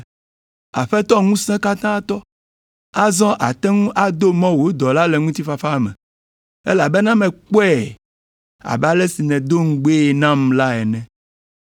“Aƒetɔ Ŋusẽkatãtɔ, azɔ àte ŋu ado mɔ wò dɔla le ŋutifafa me, elabena mekpɔe abe ale si nèdo ŋugbee nam la ene.